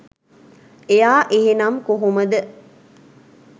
එයා එහෙනම් කොහොමද